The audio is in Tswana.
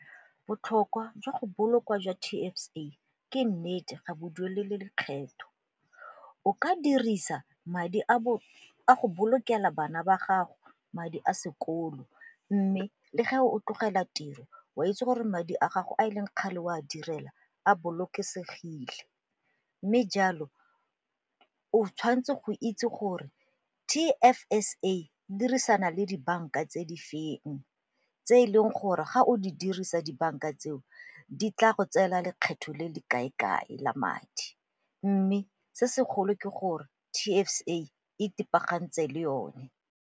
Botlhokwa jwa go bolokwa jwa T_F_S_A ke nnete ga bo duelele lekgetho. O ka dirisa madi a go bolokela bana ba gago madi a sekolo mme le ge o tlogela tiro o a itse gore madi a gago a e leng kgale o a direla a bolokesegile. Mme jalo o tshwanetse go itse gore T_F_S_A e dirisana le dibanka tse di feng tse e leng gore ga o di dirisa dibanka tseo di tla go tseela lekgetho le le kae-kae la madi mme se segolo ke gore T_F_S_A e pagantse le yone.